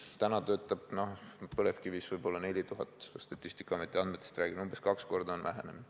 Täna töötab põlevkivitööstuses võib-olla 4000, kui statistikaameti andmetest räägime, siis on see umbes kaks korda vähenenud.